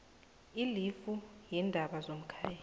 ilifu yeendaba zomkhaya